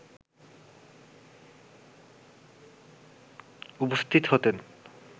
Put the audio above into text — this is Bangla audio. উপস্থিত হতেন